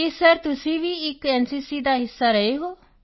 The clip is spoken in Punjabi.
ਕੀ ਸਰ ਤੁਸੀਂ ਵੀ ਇੱਕ ਐਨਸੀਸੀ ਦਾ ਹਿੱਸਾ ਰਹੇ ਹੋ